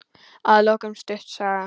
Að lokum stutt saga.